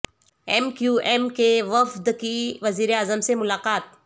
M کیو ایم کے وفد کی وزیراعظم سے ملاقات